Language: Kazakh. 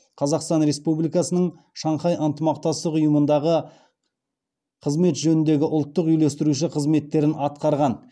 қазақстан республикасының шанхай ынтымақтастық ұйымындағы қызмет жөніндегі ұлттық үйлестірушісі қызметтерін атқарған